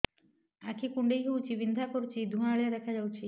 ଆଖି କୁଂଡେଇ ହେଉଛି ବିଂଧା କରୁଛି ଏବଂ ଧୁଁଆଳିଆ ଦେଖାଯାଉଛି